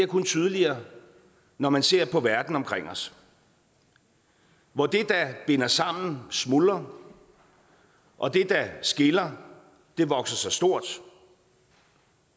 kun tydeligere når man ser på verden omkring os hvor det der binder sammen smuldrer og det der skiller vokser sig stort